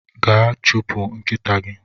Gaa chụpụ nkịta gi!